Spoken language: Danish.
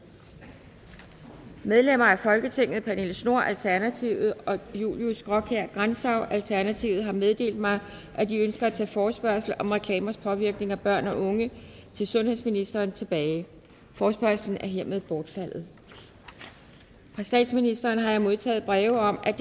medlemmer af folketinget pernille schnoor alternativet og julius graakjær grantzau alternativet har meddelt mig at de ønsker at tage forespørgslen om reklamers påvirkning af børn og unge til sundhedsministeren tilbage forespørgslen er hermed bortfaldet fra statsministeren har jeg modtaget breve om at